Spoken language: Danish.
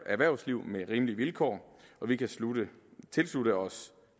erhvervsliv med rimelige vilkår og vi kan tilslutte os